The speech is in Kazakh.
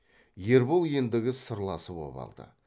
ербол ендігі сырласы боп алды